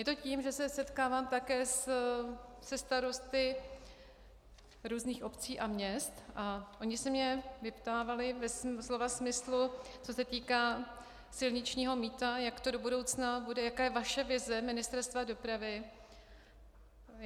Je to tím, že se setkávám také se starosty různých obcí a měst a oni se mě vyptávali ve slova smyslu, co se týká silničního mýta, jak to do budoucna bude, jaká je vaše vize Ministerstva dopravy.